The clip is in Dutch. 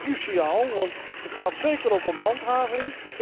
Ik vind dat cruciaal, want het gaat ook om handhaving.